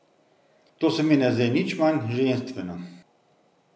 To se mi ne zdi nič manj ženstveno.